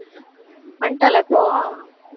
வந்துட்டாளா இப்போ